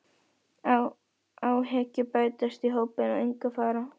Guðjónsson veiðimálastjóri og Guðmundur Georgsson forstöðumaður